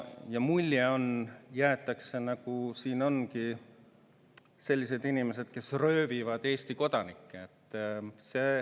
Jäetakse mulje, nagu siin ongi sellised inimesed, kes röövivad Eesti kodanikke.